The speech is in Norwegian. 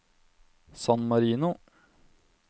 San Marino